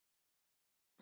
Ást var það ekki.